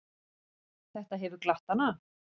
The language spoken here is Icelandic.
Þetta hefur glatt hana.